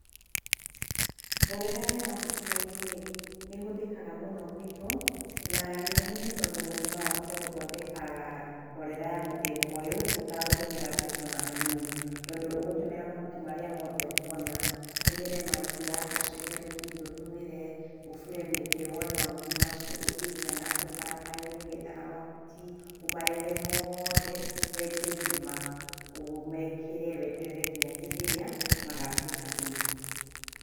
Mborera ya mahuti maigũ-rĩ nĩ ĩhũthĩkaga mũno gwĩtũ na gĩtũmi nĩ tondũ mũndũ no ahote gũthondeka mborera ya mũthemba ũyũ ũtagũtũmĩra mbeca ona hanini, tondũ ũgũtũmĩra mhuti marĩa mothe ũkwona, ũtũmĩre maria, ũcehe rũgiri ũtũmĩre, ũbure mĩtĩ woe mahuti macio, ũthiĩ nginya na kũu barabara-inĩ ũgĩethaga mahuti. Ũmarehe mothe wenje irima ũmekĩre, weterere nginya hĩndĩ ĩrĩa magatuĩka thumu.